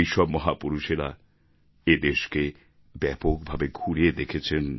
এইসব মহাপুরুষেরা এদেশকে ব্যাপকভাবে ঘুরে দেখেছেন